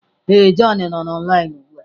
Ee, john nọ online ugbu a.